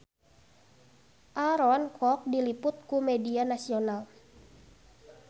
Aaron Kwok diliput ku media nasional